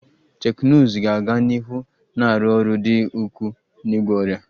Teknụzụ ga-aga n'ihu na-arụ ọrụ dị ukwuu n'ịgwọ ọrịa